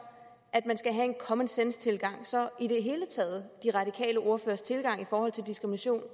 at man skal have en common sense tilgang så i det hele taget de radikales ordførers tilgang i forhold til diskrimination